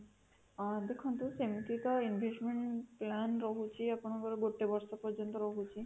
ଅଂ ଦେଖନ୍ତୁ ସେମିତି ତ investment plan ରହୁଛି ଆପଣଙ୍କର ଗୋଟେ ବର୍ଷ ପର୍ଯ୍ୟନ୍ତ ରହୁଛି